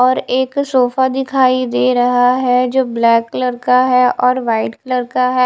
और एक सोफा दिखाई दे रहा है जो ब्लैक कलर का है और व्हाइट कलर का है।